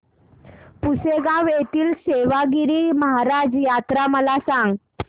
पुसेगांव येथील सेवागीरी महाराज यात्रा मला सांग